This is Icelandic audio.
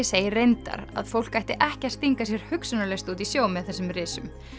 segir reyndar að fólk ætti ekki að stinga sér hugsunarlaust út í sjó með þessum risum